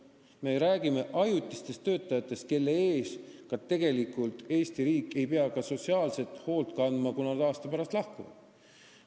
Me räägime ajutistest töötajatest, kelle eest tegelikult Eesti riik ei pea ka sotsiaalselt hoolt kandma, kui nad aasta pärast lahkuvad.